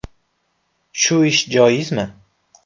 Shu ishimiz joizmi?”.